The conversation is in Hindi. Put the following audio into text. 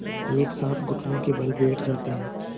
एक साथ घुटनों के बल बैठ जाते हैं